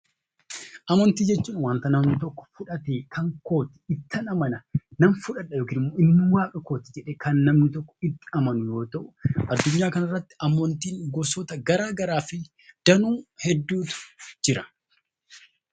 Amantii jechuun kan namni tokko fudhatee kan kooti, ittin Amana, inni waaqa kooti jedhee itti amanu yoo ta'u addunyaa kanarratti amantii gosa garagaraatu Jira.